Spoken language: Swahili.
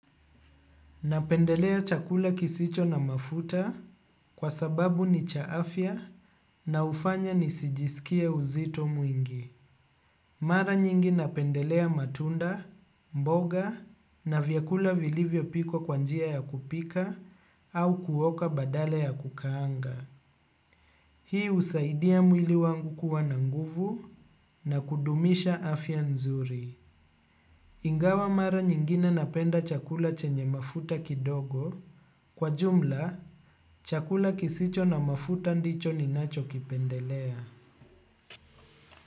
Napendelea chakula kisicho na mafuta kwa sababu ni cha afya na hufanya nisijisikie uzito mwingi. Mara nyingi napendelea matunda, mboga na vyakula vilivyo pikwa kwa njia ya kupika au kuoka badala ya kukaanga. Hii husaidia mwili wangu kuwa na nguvu na kudumisha afya nzuri. Ingawa mara nyingine napenda chakula chenye mafuta kidogo. Kwa jumla chakula kisicho na mafuta ndicho ninacho kipendelea.